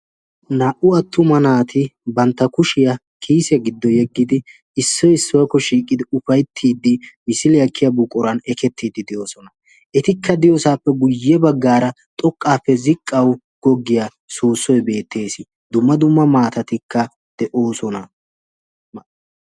Naa"u attuma naati bantta kushiyaa kiise giddo yeggidi issoi issuwaakko shiiqqidi ufaittiiddi misili aakkiya buqoran ekettiiddi de'oosona. etikka diyoosaappe guyye baggaara xoqqaappe ziqqawu goggiyaa soossoy beettees dumma dumma maatatikka de'oosona.